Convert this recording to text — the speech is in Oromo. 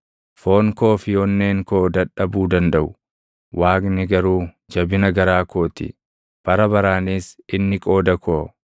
Foon koo fi onneen koo dadhabuu dandaʼu; Waaqni garuu jabina garaa koo ti; bara baraanis inni qooda koo.